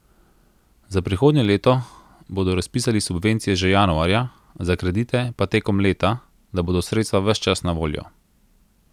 Za prihodnje leto bodo razpisali subvencije že januarja, za kredite pa tekom leta, da bodo sredstva ves čas na voljo.